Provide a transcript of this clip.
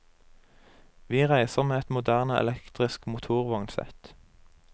Vi reiser med et moderne elektrisk motorvognsett.